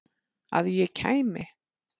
Að ég kæmi?